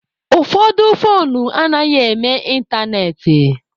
Ụfọdụ foonu anaghị eme ịntanetị.